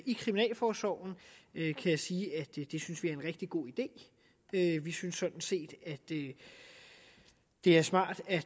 i kriminalforsorgen kan jeg sige at det synes vi er en rigtig god idé vi synes sådan set at det er smart at